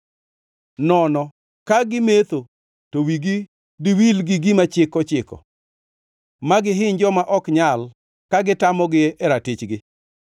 nono ka gimetho to wigi diwil gi gima chik ochiko, ma gihiny joma ok nyal ka gitamogi e ratichgi.